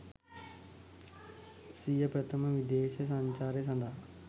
සිය ප්‍රථම විදේශ සංචාරය සඳහා